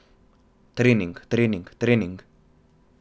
Trening, trening, trening ...